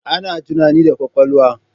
Ana tunani da kwakwalwa